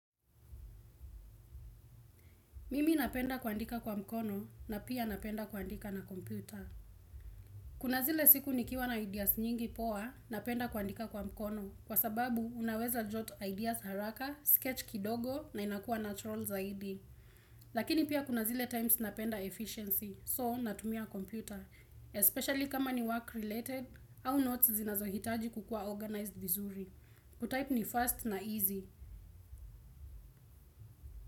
Mimi napenda kuandika kwa mkono na pia napenda kuandika na kompyuta. Kuna zile siku nikiwa na ideas nyingi poa napenda kuandika kwa mkono kwa sababu unaweza jot ideas haraka, sketch kidogo na inakua na trolls zaidi. Lakini pia kuna zile times napenda efficiency so natumia kompyuta. Especially kama ni work related, how not zinazohitaji kukua organized vizuri. Kutype ni fast na easy.